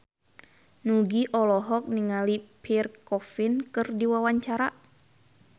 Nugie olohok ningali Pierre Coffin keur diwawancara